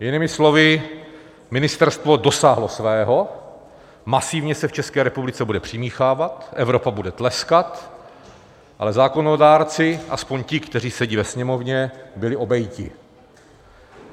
Jinými slovy, ministerstvo dosáhlo svého, masivně se v České republice bude přimíchávat, Evropa bude tleskat, ale zákonodárci, aspoň ti, kteří sedí ve Sněmovně, byli obejiti.